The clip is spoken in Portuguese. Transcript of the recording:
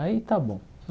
Aí está bom.